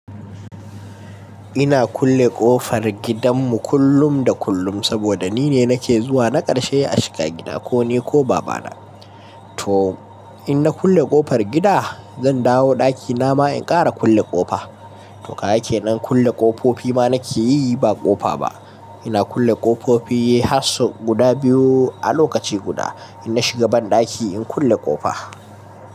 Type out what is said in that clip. Ina kulle ƙofar gidanmu kullum da kullum saboda nine nake zuwa na ƙarshe a shiga gida ko ni ko babana. To in na kulle ƙofar gida zan dawo ɗaki nama in ƙara kulle ƙofa. To gaka ke nan kulle ƙofofi ma nake yi ba ƙofa ba. Ina kulle ƙofofi har sau guda biyu a lokaci guda in na shiga banɗaki in kulle ƙofa.